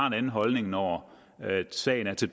en anden holdning når sagen er til